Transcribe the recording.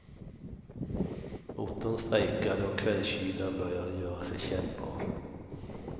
Motorn strejkade och kvällskylan började göra sig kännbar.